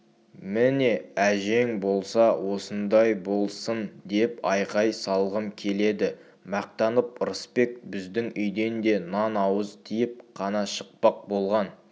міне әжең болса осындай болсын деп айқай салғым келеді мақтанып ырысбек біздің үйден де нан ауыз тиіп қана шықпақ болған